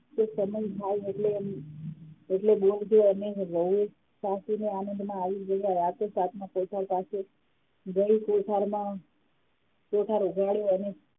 એ સમય થાય એટલે એટલે બોલજો અને વહુ સાસુ ને આનંદમાં આવી ગયા રાતે સાતમો કોઠાર પાસે જઈ કોઠારમા કોઠાર ઉગાડ્યો અને